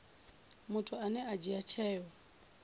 muthu ane a dzhia tsheo